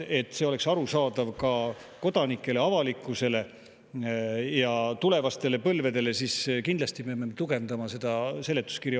Et see oleks arusaadav ka kodanikele, avalikkusele ja tulevastele põlvedele, peame me kindlasti tugevdama mõlema eelnõu seletuskirja.